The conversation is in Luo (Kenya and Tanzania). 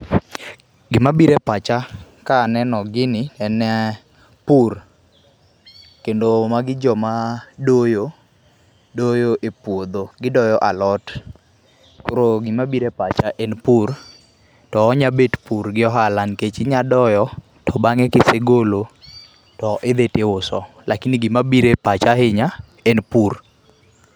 Gima biro e pacha kaneno gini en eeh, pur kendo magi joma doyo ,doyo e puodho, gidoyo alot. Koro gima biro e pacha en pur to onya bet pur gi ohala nikech inya doyo to bange kisegolo to idhi tiuso lakini gima biro e pacha ahinya en pur.